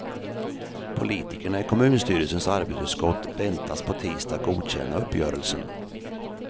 Politikerna i kommunstyrelsens arbetsutskott väntas på tisdag godkänna uppgörelsen.